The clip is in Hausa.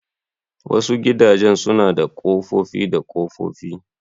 Wasu gidajen suna da kofofi da kofofi.